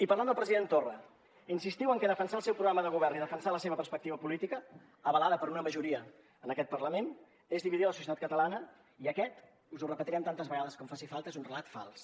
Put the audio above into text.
i parlant del president torra insistiu que defensar el seu programa de govern i defensar la seva perspectiva política avalada per una majoria en aquest parlament és dividir la societat catalana i aquest us ho repetirem tantes vegades com faci falta és un relat fals